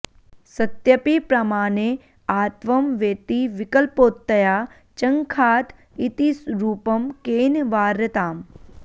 सत्यपि प्रमाणे आत्वं वेति विकल्पोत्तया चङ्खात इति रूपं केन वार्यताम्